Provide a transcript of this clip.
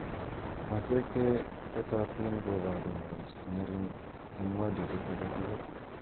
Maswek che tetotin kobaru ng'al che ng'eri'ng eng modulit age tugul.